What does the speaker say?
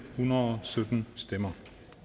hundrede og sytten stemmer